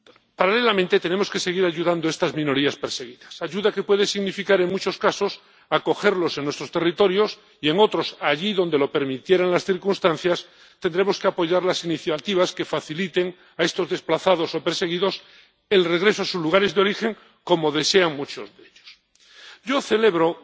Paralelamente, tenemos que seguir ayudando a estas minorías perseguidas, ayuda que puede significar, en muchos casos, acogerlos en nuestros territorios y, en otros —allí donde lo permitieran las circunstancias—, tendremos que apoyar las iniciativas que faciliten a estos desplazados o perseguidos el regreso a sus lugares de origen, como desean muchos de ellos. Yo celebro